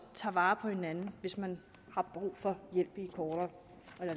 tager vare på hinanden hvis man har brug for hjælp i kortere